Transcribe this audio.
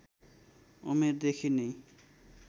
उमेरदेखि नै